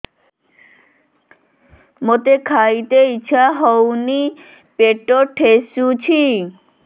ମୋତେ ଖାଇତେ ଇଚ୍ଛା ହଉନି ପେଟ ଠେସୁଛି